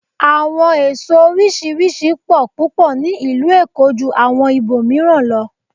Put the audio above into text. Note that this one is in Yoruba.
Àwọn èso oríṣiríṣi pọ̀ púpọ̀ ní ìlú Èkó ju àwọn ibò mìíràn lọ.